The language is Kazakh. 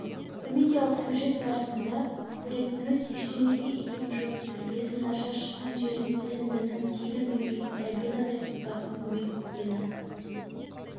комедиялық сюжет барысында көретініміз ештеңеге икемі жоқ тәрбиесі нашар шыққан жерін тілін дінін тегін білмейтін сабинадай қыздырдың көбейіп кеткені